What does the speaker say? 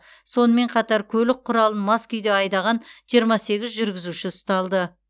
сонымен қатар көлік құралын мас күйде айдаған жиырма сегіз жүргізуші ұсталды